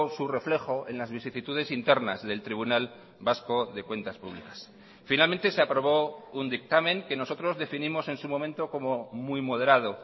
su reflejo en las vicisitudes internas del tribunal vasco de cuentas públicas finalmente se aprobó un dictamen que nosotros definimos en su momento como muy moderado